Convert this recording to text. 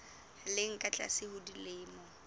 leng ka tlase ho dilemo